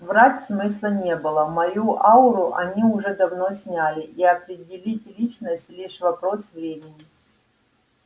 врать смысла не было мою ауру они уже давно сняли и определить личность лишь вопрос времени